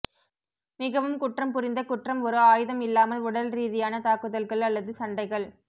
மிகவும் குற்றம் புரிந்த குற்றம் ஒரு ஆயுதம் இல்லாமல் உடல் ரீதியான தாக்குதல்கள் அல்லது சண்டைகள்